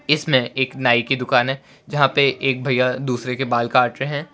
इसमें एक नाई की दुकान है जहां पे एक भैया दूसरे के बाल काट रहे--